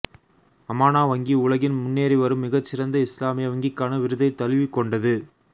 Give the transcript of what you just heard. அமானா வங்கி உலகின் முன்னேறிவரும் மிகச் சிறந்த இஸ்லாமிய வங்கிக்கான விருதைத் தழுவிக் கொண்டது